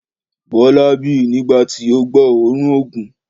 Bọla bi nigbati o gbọ òórùn òògùn.